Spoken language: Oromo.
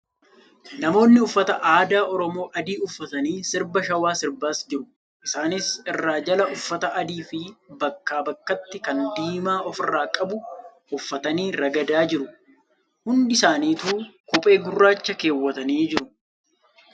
Namoonni uffata aadaa Oromoo adii uffatanii sirba shawaa sirbas jiru . Isasnis irraa jala uffata adii fi bakka bakkaatti kan diimaa ofirraa qabu uffatanii ragadaa jiru. Hundi isaanituu kophee gurraacha keewwatanii jiru.